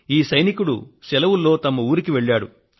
ఈ సైనికుడు సెలవుల్లో తన ఊరికి వెళ్లాడు